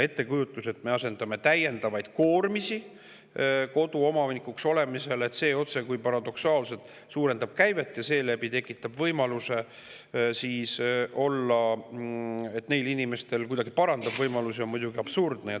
Ettekujutus, et kui me asetame täiendavaid koormisi koduomanikele, siis see otsekui paradoksaalselt suurendab käivet ja seeläbi kuidagi parandab nende inimeste võimalusi, on muidugi absurdne.